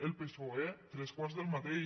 el psoe tres quarts del mateix